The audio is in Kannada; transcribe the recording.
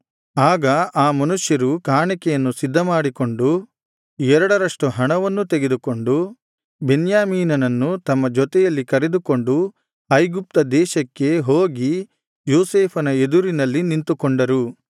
ಆಗ ಆ ಮನುಷ್ಯರು ಕಾಣಿಕೆಯನ್ನು ಸಿದ್ಧಮಾಡಿಕೊಂಡು ಎರಡರಷ್ಟು ಹಣವನ್ನೂ ತೆಗೆದುಕೊಂಡು ಬೆನ್ಯಾಮೀನನನ್ನು ತಮ್ಮ ಜೊತೆಯಲ್ಲಿ ಕರೆದುಕೊಂಡು ಐಗುಪ್ತ ದೇಶಕ್ಕೆ ಹೋಗಿ ಯೋಸೇಫನ ಎದುರಿನಲ್ಲಿ ನಿಂತುಕೊಂಡರು